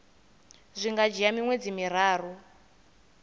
zwi nga dzhia miṅwedzi miraru